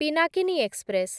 Pinakini express